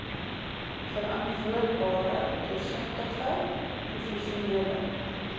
verantwoordbare deursigtige professionele